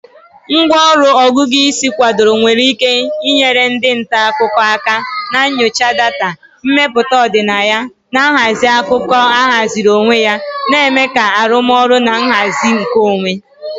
Ngwá ọrụ Ọgụgụ isi kwadoro nwere ike inyere ndị nta akụkọ aka na nyocha data, mmepụta ọdịnaya, na nhazi akụkọ ahaziri onwe ya, na-eme ka arụmọrụ na nhazi nkeonwe.